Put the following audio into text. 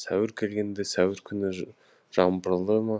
сәуір келгенде сәуір күні жаңбырлы ма